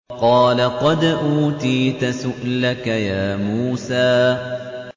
قَالَ قَدْ أُوتِيتَ سُؤْلَكَ يَا مُوسَىٰ